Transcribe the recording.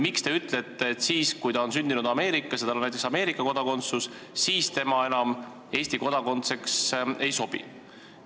Miks te ütlete, et kui ta on sündinud Ameerikas ja tal on Ameerika kodakondsus, siis tema enam Eesti kodanikuks ei sobi?